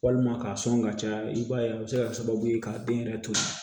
Walima k'a sɔn ka caya i b'a ye a bɛ se ka kɛ sababu ye ka den yɛrɛ to